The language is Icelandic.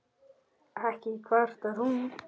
Ekki kvartar hún